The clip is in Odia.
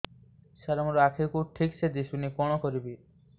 ସାର ମୋର ଆଖି କୁ ଠିକସେ ଦିଶୁନି କଣ କରିବି